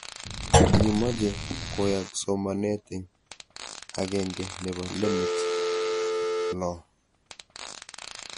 Kikimache koyaak somanet eng' ag'eng'e nepo LMICs loo